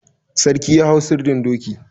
Sarki ya hau sirdin doki.